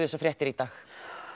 þessar fréttir í dag